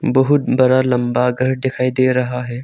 बहुत बरा लंबा घर दिखाई दे रहा है।